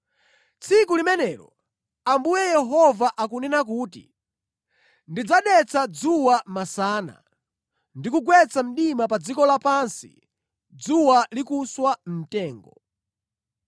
“Tsiku limenelo,” Ambuye Yehova akunena kuti, “Ndidzadetsa dzuwa masana ndi kugwetsa mdima pa dziko lapansi dzuwa likuswa mtengo.